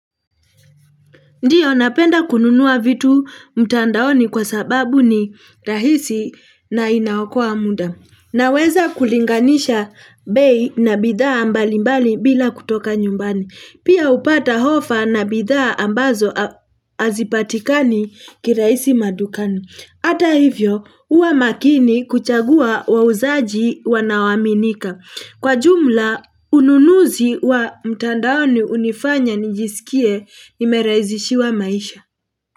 Ndiyo napenda kununua vitu mtandaoni kwa sababu ni rahisi na inaokoa muda. Naweza kulinganisha bei na bidhaa mbalimbali bila kutoka nyumbani. Pia upata hofa na bidhaa ambazo hazipatikani kirahisi madukani. Hata hivyo huwa makini kuchagua wauzaji wanaoaminika. Kwa jumla, ununuzi wa mtandaoni unifanya nijisikie nimerahizishiwa maisha.